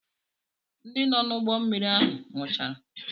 Ndị nọ n'ụgbọmmiri ahụ nwụchara.